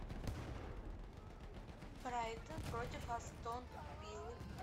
брайтон против астон виллы